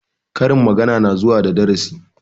Karin magana na zuwa da darasi